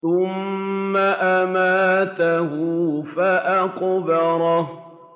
ثُمَّ أَمَاتَهُ فَأَقْبَرَهُ